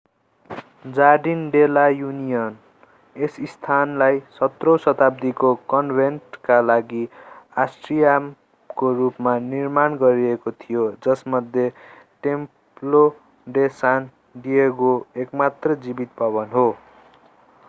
jardin de la Union यस स्थानलाई 17 औँ शताब्दीको कन्भेन्टका लागि आट्रियमको रूपमा निर्माण गरिएको थियो जसमध्ये टेम्प्लो डे सान डिएगो एकमात्र जीवित भवन हो